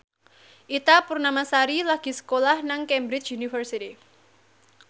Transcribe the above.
Ita Purnamasari lagi sekolah nang Cambridge University